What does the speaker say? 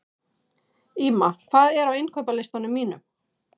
Ýma, hvað er á innkaupalistanum mínum?